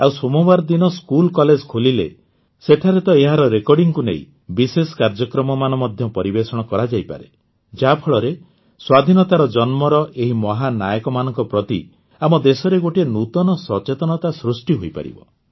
ଆଉ ସୋମବାର ଦିନ ସ୍କୁଲକଲେଜ ଖୋଲିଲେ ସେଠାରେ ତ ଏହାର ରେକର୍ଡ଼ିଂକୁ ନେଇ ବିଶେଷ କାର୍ଯ୍ୟକ୍ରମମାନ ମଧ୍ୟ ପରିବେଷଣ କରାଯାଇପାରେ ଯାହାଫଳରେ ସ୍ୱାଧୀନତାର ଜନ୍ମର ଏହି ମହାନାୟକମାନଙ୍କ ପ୍ରତି ଆମ ଦେଶରେ ଗୋଟିଏ ନୂତନ ସଚେତନତା ସୃଷ୍ଟି ହୋଇପାରିବ